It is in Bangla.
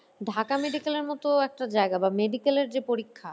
ঢাকা medical এর মত একটা জায়গা বা medical এর যে পরীক্ষা